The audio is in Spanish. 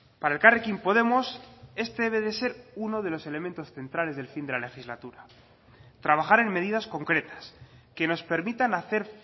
para elkarrekin podemos este debe de ser uno de los elementos centrales del fin de la legislatura trabajar en medidas concretas que nos permitan hacer